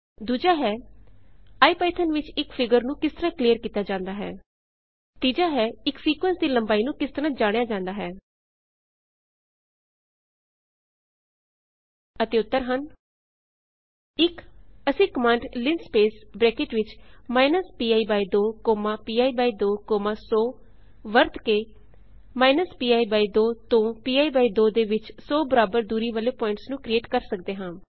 ਦੂਜਾ ਹੈ ਇਪੀਥੌਨ ਵਿੱਚ ਇੱਕ ਫਿਗਰ ਨੂੰ ਕਿਸ ਤਰਹ ਕਲੀਅਰ ਕੀਤਾ ਜਾਂਦਾ ਹੈ ਤੀਜਾ ਹੈ ਇੱਕ ਸੀਕੁਏਂਸ ਦੀ ਲੰਬਾਈ ਨੂੰ ਕਿਸ ਤਰਹ ਜਾਣਿਆ ਜਾਂਦਾ ਹੈ ਅਤੇ ਉੱਤਰ ਹਨ ਇੱਕ ਅਸੀਂ ਕਮਾਂਡ ਲਿੰਸਪੇਸ ਅਤੇ ਬਰੈਕਟ ਵਿਚ minus pi by 2 comma pi by 2 comma 100 ਵਰਤ ਕੇ ਮਾਇਨਸ ਪੀ ਬਾਈ 2 ਤੋਂ ਪੀ ਬਾਈ 2 ਦੇ ਵਿੱਚ 100 ਬਰਾਬਰ ਦੂਰੀ ਵਾਲੇ ਪੁਆਇੰਟਸ ਨੂੰ ਕਰਿਏਟ ਕਰ ਸਕਦੇ ਹਾਂ